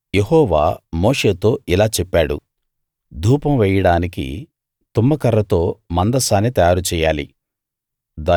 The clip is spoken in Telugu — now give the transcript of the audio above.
యెహోవా మోషేతో ఇలా చెప్పాడు ధూపం వేయడానికి తుమ్మకర్రతో మందసాన్ని తయారు చెయ్యాలి